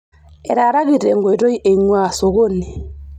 Etaaraki tenkoitoi einguaa sokoni.